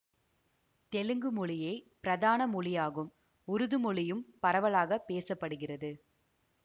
தெலுங்கு மொழியே பிரதான மொழியாகும் உருது மொழியும் பரவலாக பேச படுகிறது